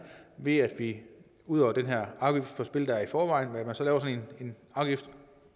ved at vi ud over den her afgift på spil der er i forvejen laver en